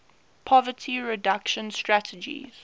poverty reduction strategy